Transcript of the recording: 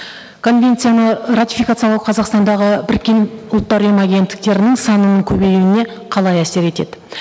конвенцияны ратификациялау қазақстандағы біріккен ұлттар ұйымы агенттіктерінің санын көбеюіне қалай әсер етеді